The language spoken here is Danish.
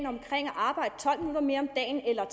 arbejde tolv minutter mere om dagen eller